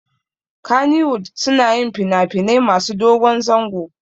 Kannywood suna yin finafinai masu dogon zango